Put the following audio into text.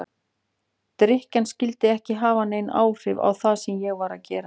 Drykkjan skyldi ekki hafa nein áhrif á það sem ég var að gera.